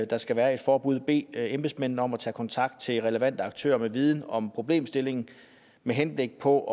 der skal være et forbud bede embedsmændene om at tage kontakt til relevante aktører med viden om problemstillingen med henblik på